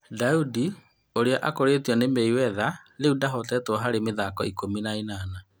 Ndaudi ũrĩa akũrĩtio nĩ Meiwetha rĩu ndahoteetwo harĩ mĩthako ikũmi na ĩnana.